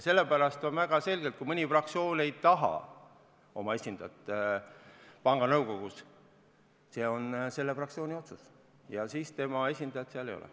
Sellepärast on väga selge, et kui mõni fraktsioon ei taha oma esindajat panga nõukogusse, siis see on selle fraktsiooni otsus ja siis nende esindajat seal ei ole.